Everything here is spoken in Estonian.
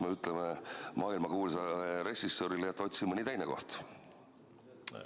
Kas me ütleme maailmakuulsale režissöörile, et otsi mõni teine koht?